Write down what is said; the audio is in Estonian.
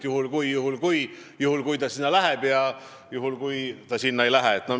Mis saab juhul, kui ta sinna läheb, ja juhul, kui ta sinna ei lähe.